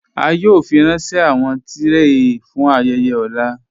A yòò fírànṣẹ̀ awọn tìrẹé fún ayéyè ọ̀là